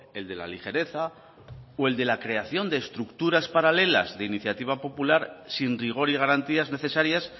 el de la ligereza o el de la creación de estructuras paralelas de iniciativa popular sin rigor y garantías necesarias